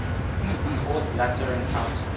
fourth lateran council